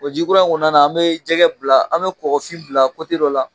jikura in kɔnɔna na an bi jɛgɛ bila, an bi kɔkɔfin bila dɔ la.